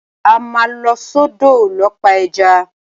A máa lọ sọ́dọ̀ lọ pa ẹja.